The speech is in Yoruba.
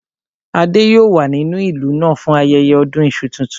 Adé yòó wà nínú ìlú náà fún ayẹyẹ ọdún iṣu tuntun